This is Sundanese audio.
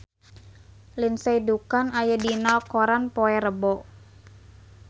Lindsay Ducan aya dina koran poe Rebo